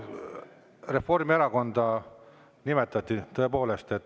Reformierakonda nimetati tõepoolest.